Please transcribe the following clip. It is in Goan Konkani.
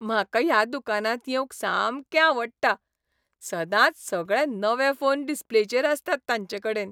म्हाका ह्या दुकानांत येवंक सामकें आवडटा. सदांच सगळे नवे फोन डिस्प्लेचेर आसतात तांचेकडेन.